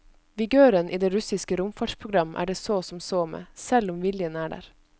Vigøren i det russiske romfartsprogram er det så som så med, selv om viljen er der.